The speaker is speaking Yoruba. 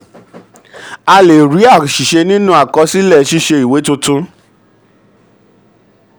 a lè rí àṣìṣe nínú àkọsílẹ ṣíṣe ìwé tuntun.